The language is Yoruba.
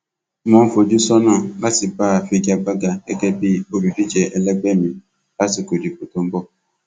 mo ń fojú sọnà láti bá a figa gbága gẹgẹ bíi olùdíje ẹlẹgbẹ mi lásìkò ìdìbò tó ń bọ